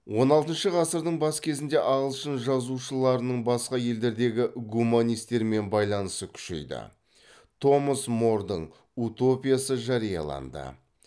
он алтыншы ғасырдың бас кезінде ағылшын жазушыларының басқа елдердегі гуманистермен байланысы күшейді томас мордың утопиясы жарияланды